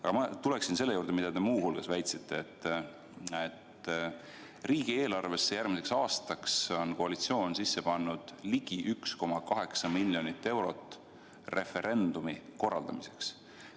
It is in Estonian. Aga ma tulen selle juurde, mida te ka väitsite: et järgmise aasta riigieelarvesse on koalitsioon pannud ligi 1,8 miljonit eurot muu hulgas referendumi korraldamiseks.